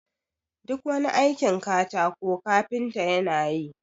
duk wani aikin katako kafinta yana yi